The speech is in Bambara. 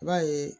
I b'a ye